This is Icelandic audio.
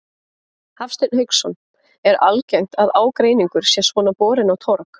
Hafsteinn Hauksson: Er algengt að ágreiningur sé svona borinn á torg?